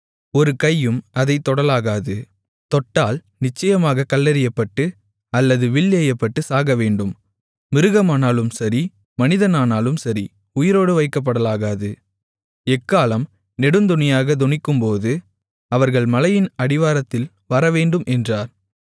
ஒரு கையும் அதைத் தொடலாகாது தொட்டால் நிச்சயமாகக் கல்லெறியப்பட்டு அல்லது வில் எய்யப்பட்டுச் சாகவேண்டும் மிருகமானாலும் சரி மனிதனானாலும் சரி உயிரோடு வைக்கப்படலாகாது எக்காளம் நெடுந்தொனியாகத் தொனிக்கும்போது அவர்கள் மலையின் அடிவாரத்தில் வரவேண்டும் என்றார்